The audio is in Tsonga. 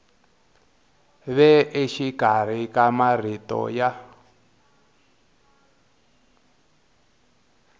ve exikarhi ka marito ya